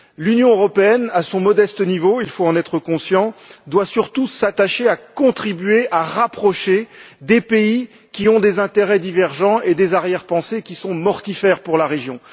L'Union européenne, à son modeste niveau, il faut en être conscient, doit surtout s'attacher à contribuer à rapprocher des pays qui ont des intérêts divergents et des arrière pensées qui sont mortifères pour la région.